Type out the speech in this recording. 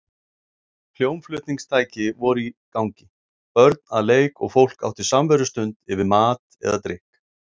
Hljómflutningstæki voru í gangi, börn að leik og fólk átti samverustund yfir mat eða drykk.